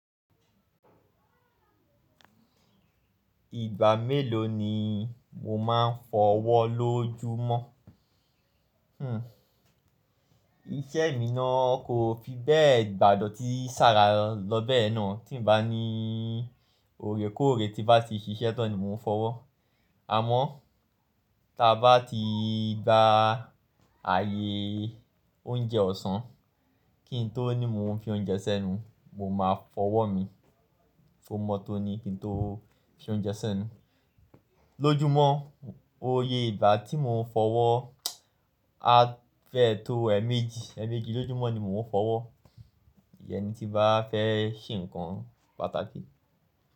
Ìgbà mélòó ni mo máa ń fọwọ́ ló júmọ̀? Iṣẹ́ mi náà kò fi bẹ́ẹ̀ gbádọ̀ tí ṣàrà lọ bẹ́ẹ̀ ye náà tí ń bá ní òrè kóòrè tí bá ti ṣiṣẹ́ tán ni mò ń fọwọ́. Àmọ́ tí a bá ti gba ààyè oúnjẹ ọ̀sán kí n tó ní mò ń fi oúnjẹ sẹ́nu, mo máa fọwọ́ mi kọmọ tó ní kí n tó fi oúnjẹ sẹ́nu. Lójúmọ́, oyè ìgbà tí mò ń fọwọ́ á fẹ́ tó èemẹji, èemẹji lójúmọ́ ni mò ń fọwọ́. Ìyẹn ni tí bá fẹ́ ṣe nǹkan pàtàkì.